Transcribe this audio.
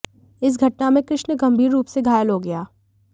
इस घटना में कृष्ण गंभीर रूप से घायल हो गया